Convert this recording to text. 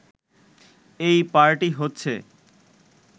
এই পার্টি হচ্ছে